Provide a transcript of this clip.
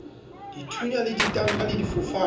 dithunya le ditanka le difofane